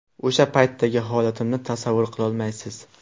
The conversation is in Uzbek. O‘sha paytdagi holatimni tasavvur qilolmaysiz.